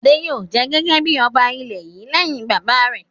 Adé yóò jẹ gẹ́gẹ́ bí ọba ilẹ̀ yìí lẹ́yìn bàbá rẹ̀!